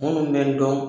Minnu bɛ n dɔn